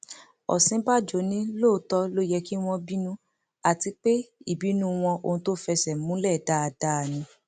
òsínbàjò ní lóòótọ ló yẹ kí wọn bínú àti pé ìbínú wọn ohun tó fẹsẹ múlẹ dáadáa ni